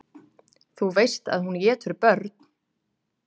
Þú veist að hún étur börn.